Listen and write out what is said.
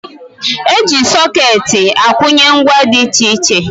E ji sọkeetị akwụnye ngwa dị iche iche